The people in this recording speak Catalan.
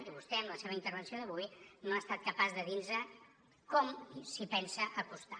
i vostè amb la seva intervenció d’avui no ha estat capaç de dir nos com s’hi pensa acostar